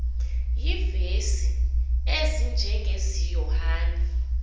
iivesi ezinjengezi yohane